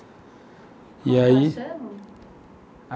E aí... Como ela chama?